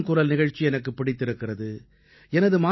மனதின் குரல் நிகழ்ச்சி எனக்குப் பிடித்திருக்கிறது